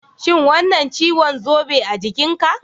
Shin wannan ciwon zobe a jikinka?